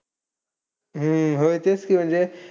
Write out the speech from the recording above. हम्म होय, तेच की म्हणजे.